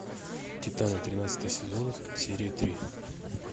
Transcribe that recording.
титаны тринадцатый сезон серия три